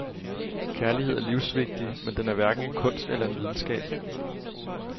Kærlighed er livsvigtig, men den er hverken en kunst eller en videnskab.